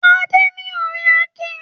Adé ni ọ̀rẹ́ Akin.